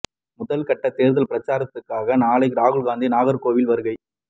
முதல் கட்ட தேர்தல் பிரச்சாரத்திற்காக நாளை ராகுல் காந்தி நாகர்கோவில் வருகை